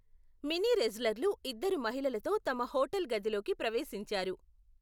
Mini రెజ్లర్లు ఇద్దరు మహిళలతో తమ హోటల్ గదిలోకి ప్రవేశించారు.